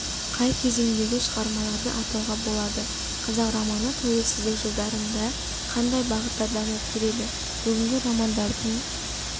қай кезеңдегі шығармаларды атауға болады қазақ романы тәуелсіздік жылдарында қандай бағытта дамып келеді бүгінгі романдардың